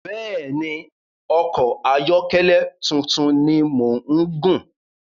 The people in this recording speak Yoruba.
Bẹ́ẹ̀ni, ọkọ ayọ́kẹ́lẹ̀ tuntun ni mò ń gùn